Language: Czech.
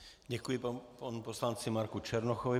Děkuji panu poslanci Marku Černochovi.